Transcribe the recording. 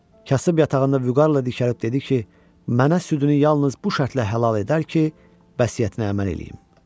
Kasıb yatağında vüqarla dikəlib dedi ki, mənə südünü yalnız bu şərtlə halal edər ki, vəsiyyətinə əməl eləyim.